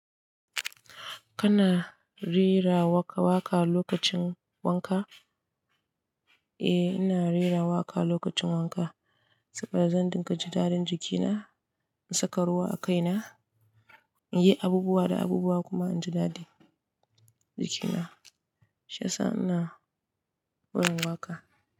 Kana rera waƙa waƙa lokacin wanka? Eh, ina rera waƙa lokacin wanka saboda zan dinga jin dadin jikina, in saka ruwa a kaina, in yi abubuwa da abubuwa kuma inji dadi jikina. Sha sa ina win waƙa.